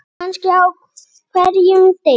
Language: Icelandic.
Kannski á hverjum degi.